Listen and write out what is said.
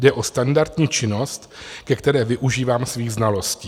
Jde o standardní činnost, ke které využívám svých znalostí.